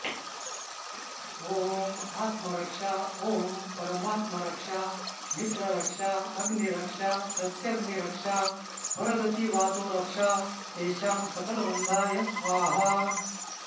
ॐ आत्मरक्षा ॐ परमात्मरक्षा मित्ररक्षा अग्निरक्षा प्रत्यग्निरक्षा परगतिवातोरक्षा तेषां सकलबन्धाय स्वाहा